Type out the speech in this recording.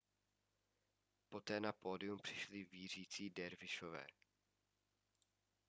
poté na pódium přišli vířící dervišové